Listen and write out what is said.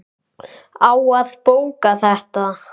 Á að bóka þetta?